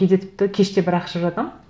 кейде тіпті кеште бірақ шығып жатамын